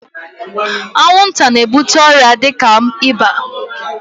Anwụnta na-ebute ọrịa dịka ịba.